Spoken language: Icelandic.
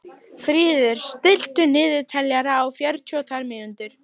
Fríður, stilltu niðurteljara á fjörutíu og tvær mínútur.